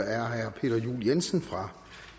er herre peter juel jensen fra